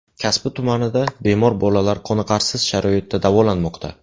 Kasbi tumanida bemor bolalar qoniqarsiz sharoitda davolanmoqda.